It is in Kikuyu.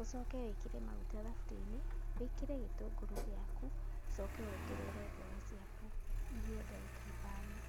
ũcoke wĩkĩre magũta thaburia-inĩ wĩkĩre gĩtũngũrũ gĩaku, ũcoke wongerere mboga ciaku, ihĩe ndagĩka ithano.